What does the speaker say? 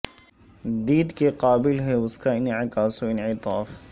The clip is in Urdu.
دید کے قابل ہے اس کا انعکاس و انعطاف